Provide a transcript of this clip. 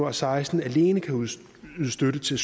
og seksten alene kan ydes støtte til